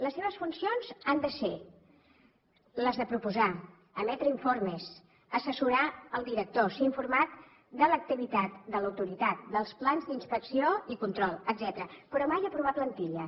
les seves funcions han de ser les de proposar emetre informes assessorar el director ser informat de l’activitat de l’autoritat dels plans d’inspecció i control etcètera però mai aprovar plantilles